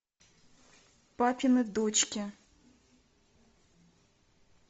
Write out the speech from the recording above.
папины дочки